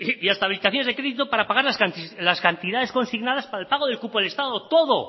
y hasta de crédito para pagar las cantidades consignadas para el pago del cupo del estado todo